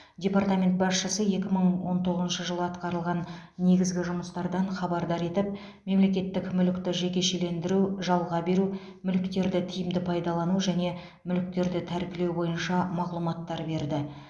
департамент басшысы екі мың он тоғызыншы жылы атқарылған негізгі жұмыстардан хабардар етіп мемлекеттік мүлікті жекешелендіру жалға беру мүліктерді тиімді пайдалану және мүліктерді тәркілеу бойынша мағлұматтар берді